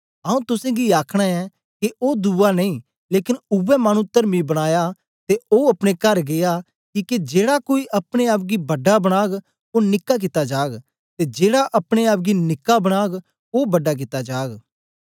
आऊँ तुसेंगी आखना ऐं के ओ दुवा नेई लेकन उवै मानु तरमी बनयां ते ओ अपने कर गीया किके जेड़ा कोई अपने आप गी बड़ा बनाग ओ निक्का कित्ता जाग ते जेड़ा अपने आप गी निक्का बनाग ओ बड़ा कित्ता जाग